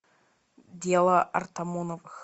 дело артамоновых